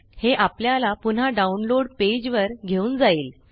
हे आपल्याला पुन्हा डाउनलोड पेज वर घेऊन जाईल